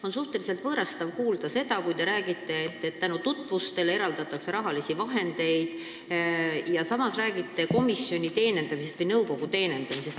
On suhteliselt võõrastav kuulata, kui te räägite, et tänu tutvustele eraldatakse rahalisi vahendeid, ja samas räägite nõukogu teenindamisest.